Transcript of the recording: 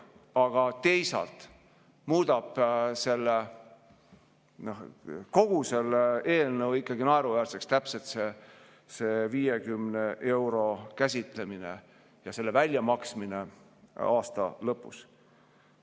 Aga teisalt muudab kogu selle eelnõu ikkagi naeruväärseks see 50 euro käsitlemine ja selle väljamaksmine aasta lõpus.